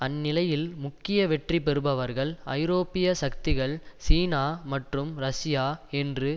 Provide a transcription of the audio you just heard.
அந்நிலையில் முக்கிய வெற்றி பெறுபவர்கள் ஐரோப்பிய சக்திகள் சீனா மற்றும் ரஷ்யா என்று